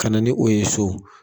Ka na ni o ye so.